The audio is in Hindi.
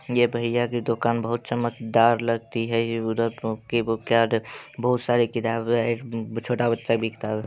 ये भैया की दुकान बहुत ही चमकदार लगती है। ये उधर बहुत सारी किताबे है। छोटा बच्चा भी किताबे --